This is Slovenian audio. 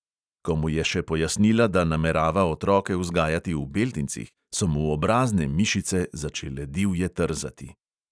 Ko mu je še pojasnila, da namerava otroke vzgajati v beltincih, so mu obrazne mišice začele divje trzati.